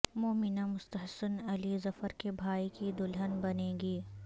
مومنہ مستحسن علی ظفر کے بھائی کی دلہن بنیں گی